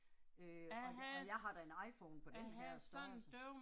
Øh og og jeg har da en iPhone på den her størrelse